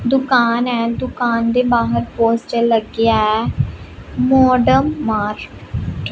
ਦੁਕਾਨ ਹ ਦੁਕਾਨ ਦੇ ਬਾਹਰ ਪੋਸਟਰ ਲੱਗਿਆ ਹੈ ਮੋਡਮ ਮਾਰਕ ।